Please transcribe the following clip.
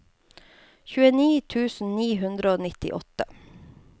tjueni tusen ni hundre og nittiåtte